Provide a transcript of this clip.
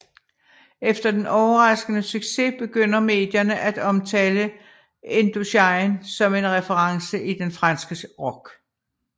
Efter den overraskende succes begynder medierne at omtale Indochine som en reference i den franske rock